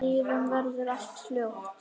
Síðan verður allt hljótt.